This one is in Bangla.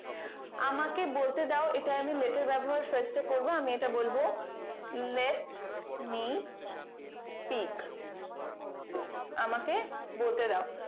আমাকে বলতে দাও এটা আমি let এর ব্যবহার fast এ করবো আমি এটা বলবো let me spike আমাকে বলতে দাও